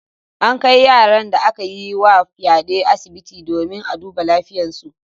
An kai yaran da aka yi wa fyaɗe asibiti domin a duba lafiyarsu.